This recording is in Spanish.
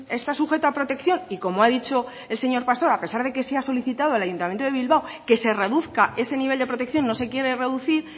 está sujeto a protección y como ha dicho el señor pastor a pesar de que se ha solicitado al ayuntamiento de bilbao que se reduzca ese nivel de protección no se quiere reducir